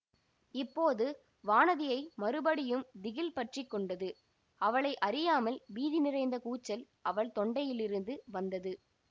இப்போது வானதியை மறுபடியும் திகில் பற்றி கொண்டது அவளை அறியாமல் பீதி நிறைந்த கூச்சல் அவள் தொண்டையிலிருந்து வந்தது